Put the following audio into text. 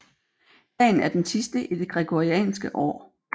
Dagen er den sidste i det gregorianske år